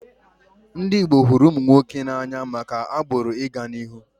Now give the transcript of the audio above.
Ndị Igbo hụrụ ụmụ nwoke n'anya maka agbụrụ ị ga n'ihu